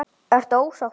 Ertu ósáttur?